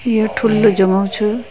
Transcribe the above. ये ठुलू जगह छ।